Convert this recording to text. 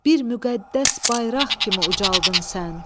Bir müqəddəs bayraq kimi ucaldın sən.